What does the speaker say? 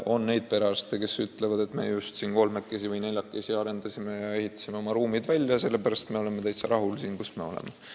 On neid perearste, kes ütlevad, et me just kolmekesi või neljakesi ehitasime oma ruumid välja ja oleme täitsa rahul siin, kus me oleme.